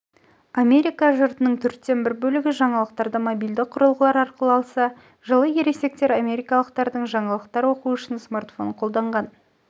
америка жұртының төрттен бір бөлігі жаңалықтарды мобильді құрылғылар арқылы алса жылы ересек америкалықтардың жаңалықтар оқу үшін смартфон қолданған